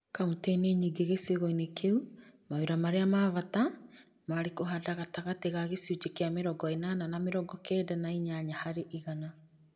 Kauntĩ -inĩ nyĩngĩ gĩcigo-inĩ kĩu mawĩra marĩa ma bata maarĩ kũhanda gatagatĩ ka gĩcunjĩ kĩa mĩrongo ĩnana na mĩrongo kenda na inyanya harĩ igana